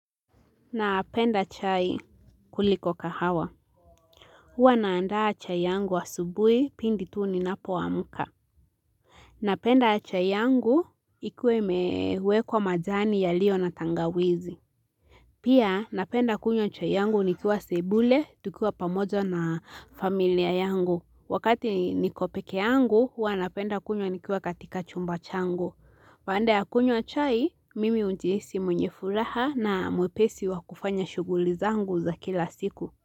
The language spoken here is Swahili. Napenda chai kuliko kahawa huwa naandaa chai yangu wa asubuhi pindi tuu ni napo amka Napenda chai yangu ikuwe mewekwa majani yalio na tangawizi Pia napenda kunywa chai yangu nikiwa sebule tukiwa pamoja na familia yangu Wakati nikopekee yangu huwa napenda kunywa nikua katika chumba chango Baada ya kunywa chai, mimi hujihisi mwenye furaha na mwepesi wa kufanya shughuli zangu za kila siku.